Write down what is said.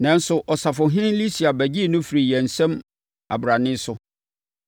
Nanso, Ɔsafohene Lisia bɛgyee no firii yɛn nsam abrane so,